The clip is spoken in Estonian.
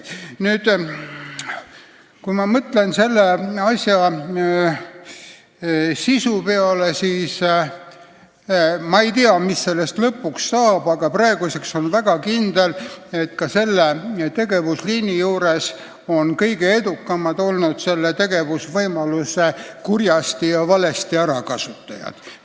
Kui ma mõtlen selle asja sisu peale, siis ma ei tea, mis sellest lõpuks saab, aga praeguseks on juba kindel, et ka selle tegevusliini juures on kõige edukamad olnud selle tegevusvõimaluse kurjasti ärakasutajad.